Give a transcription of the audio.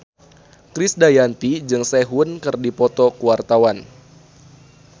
Krisdayanti jeung Sehun keur dipoto ku wartawan